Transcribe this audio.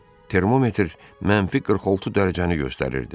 Termometr -46 dərəcəni göstərirdi.